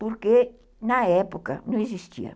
Porque, na época, não existia.